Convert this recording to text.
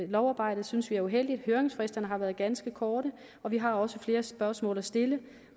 lovarbejdet synes vi er uheldigt høringsfristerne har været ganske korte vi har også flere spørgsmål at stille